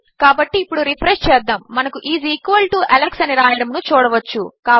కాబట్టి ఇప్పుడు రిఫ్రెష్ చేద్దాము మనకు ఐఎస్ ఈక్వల్ టో అలెక్స్ అని రావడమును చూడవచ్చు